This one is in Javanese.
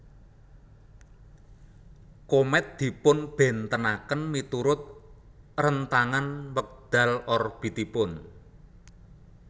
Komèt dipunbéntenaken miturut rentangan wekdal orbitipun